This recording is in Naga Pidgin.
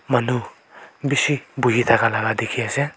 manu bishi buhi thakala dikhiase.